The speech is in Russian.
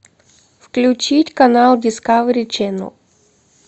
включить канал дискавери ченал